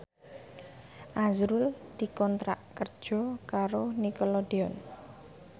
azrul dikontrak kerja karo Nickelodeon